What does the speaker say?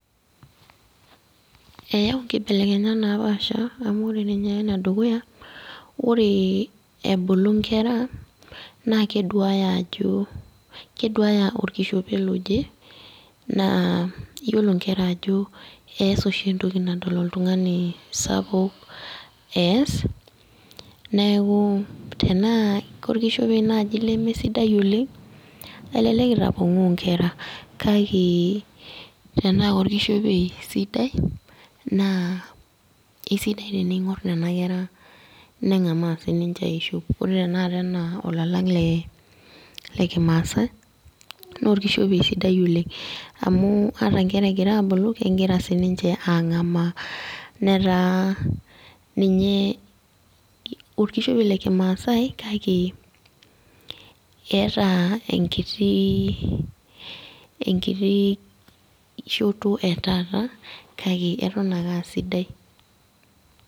Eyau nkibelekenyat napaasha amu ore ninye enedukuya, ore ebulu nkera, nakeduaya ajo, keduaya orkishopei loje, naa yiolo nkera ajo ees oshi entoki nadol oltung'ani sapuk ees, neeku tenaa korkishopei nai lemesidai oleng, elelek itapong'oo nkera. Kake tenaa korkishopei sidai, naa esidai tening'or nena kera, neng'amaa sininche aishop. Ore enaa olalang' le lekimaasai, norkishopei sidai oleng. Amu, ata nkera egira abulu, kegira sinche ang'amaa. Netaa ninye orkishopei lekimaasai lake, eeta enkiti, enkiti shoto etaata, kake eton akasidai.